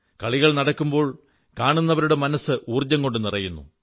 കളികൾ നടക്കുമ്പോൾ കാണുന്നവരുടെ മനസ്സ് ഊർജ്ജം കൊണ്ടു നിറയുന്നു